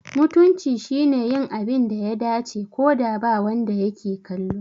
Mutunci shine yin abin da ya dace, ko da ba wanda yake kallo.